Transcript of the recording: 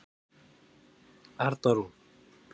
Arna Rún.